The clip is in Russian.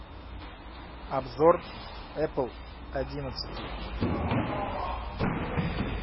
обзор эппл одиннадцатый